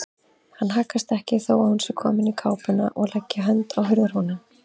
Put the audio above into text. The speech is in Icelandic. Hann haggast ekki þó að hún sé komin í kápuna og leggi hönd á hurðarhúninn.